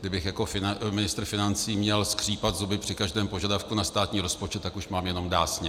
Kdybych jako ministr financí měl skřípat zuby při každém požadavku na státní rozpočet, tak už mám jenom dásně.